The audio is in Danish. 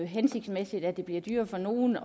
hensigtsmæssigt at det bliver dyrere for nogen at